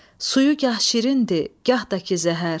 Suyu gah şirindir, gah da ki zəhər.